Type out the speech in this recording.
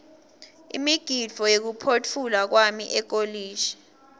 umgidvo wekuphotfulwa kwami ekolishi